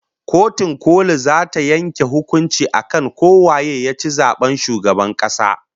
Kotun koli zata yanke hukuncin akan ko waye yaci zaben shugaban kasa